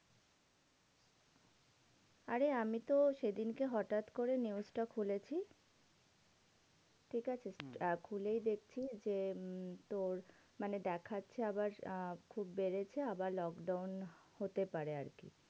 আরে আমিতো সেদিনকে হটাৎ করে news টা খুলেছি, ঠিকাছে? আহ খুলেই দেখছি যে, উম তোর মানে দেখাচ্ছে আবার আহ খুব বেড়েছে আবার lockdown হতে পারে আরকি।